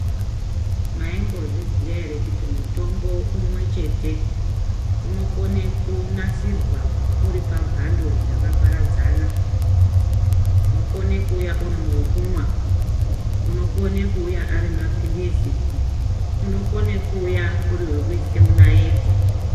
Maimbozviziya ere kuti mutombo umwechete unokona kunasirwa uri pamhando dzakaparadzana unokone kuuya uri wekumwa, unokone kuuya Ari maphilizi, unokone kuuya uri wekuise munaiti.